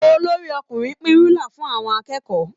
Olorí-ọkùnrin ń pín rúlà fún àwọn akẹ́kọ̀ọ́